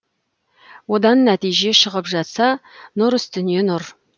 одан нәтиже шығып жатса нұр үстіне нұр